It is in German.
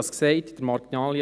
das sagte ich.